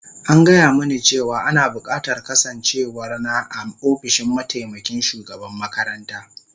An gaya mini cewa ana bukatar kasancewar na a ofishin mataimakin shugaban makaranta